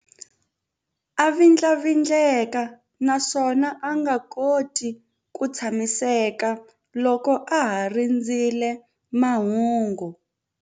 A vindlavindleka naswona a nga koti ku tshamiseka loko a ha rindzerile mahungu.